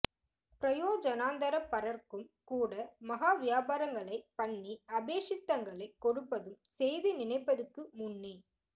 பிரயோஜனாந்தர பரர்க்கும் கூட மஹா வியாபாரங்களை பண்ணி அபேக்ஷித்ங்களைக் கொடுப்பதும் செய்து நினைப்பதுக்கு முன்னே